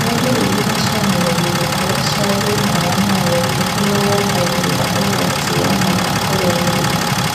Nĩ ndariri na cionereria irĩkũ cia thina wa maũthĩ ũrĩa wongagĩrĩra ũgwati wa mwana kũgĩa mĩrimũ